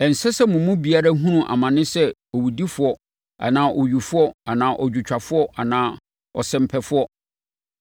Ɛnsɛ sɛ mo mu biara hunu amane sɛ owudifoɔ anaa owifoɔ anaa odwotwafoɔ anaa ɔsɛmpɛfoɔ,